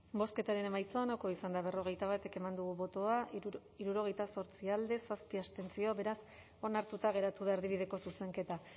bozketaren emaitza onako izan da berrogeita bat eman dugu bozka hirurogeita zortzi boto alde zazpi abstentzio beraz onartuta geratu da erdibideko zuzenketa